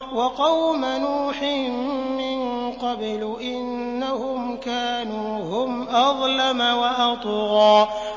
وَقَوْمَ نُوحٍ مِّن قَبْلُ ۖ إِنَّهُمْ كَانُوا هُمْ أَظْلَمَ وَأَطْغَىٰ